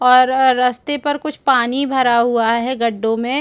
और अर रस्ते पर कुछ पानी भरा हुआ है गड्डो में--